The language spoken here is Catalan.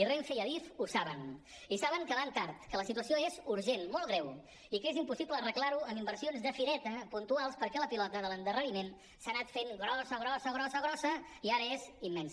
i renfe i adif ho saben i saben que van tard que la situació és urgent molt greu i que és impossible arreglar ho amb inversions de fireta puntuals perquè la pilota de l’endarreriment s’ha anat fent grossa grossa grossa grossa i ara és immensa